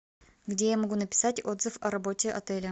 где я могу написать отзыв о работе отеля